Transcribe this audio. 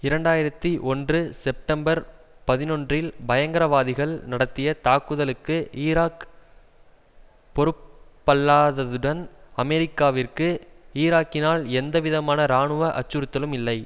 இரண்டாயிரத்தி ஒன்று செப்டம்பர் பதினொன்றில் பயங்கரவாதிகள் நடத்திய தாக்குதலுக்கு ஈராக் பொறுப்பல்லாததுடன் அமெரிக்காவிற்கு ஈராக்கினால் எந்த விதமான இராணுவ அச்சுறுத்தலும் இல்லை